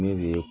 Ne de ye